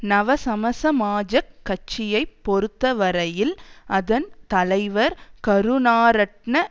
நவசமசமாஜக் கட்சியை பொறுத்தவரையில் அதன் தலைவர் கருணாரட்ன